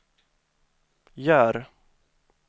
gör